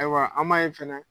Ayiwa an m'a ye fɛnɛ